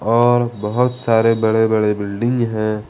और बहौत सारे बड़े बड़े बिल्डिंग है।